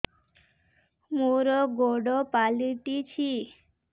ମୋର ଗୋଡ଼ ପାଲଟିଛି